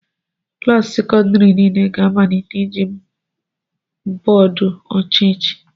Klaasị sekọndrị niile ga-amalite iji bọọdụ ọcha echi